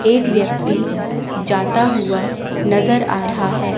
एक व्यक्ती जाता हुआ नज़र आ रहा है।